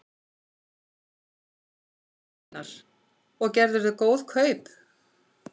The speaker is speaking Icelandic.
Einar: Og gerðirðu góð kaup?